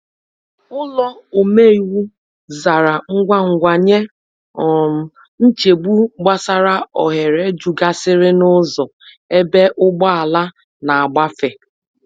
Ụlọ omeiwu zara ngwa ngwa nye um nchegbu gbasara oghere jukasiri n’ụzọ egbe ugbọala na agbafe.